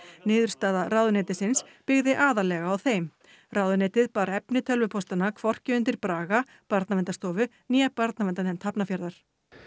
niðurstaða ráðuneytisins byggði aðallega á þeim ráðuneytið bar efni hvorki undir Braga Barnaverndarstofu né barnaverndarnefnd Hafnarfjarðar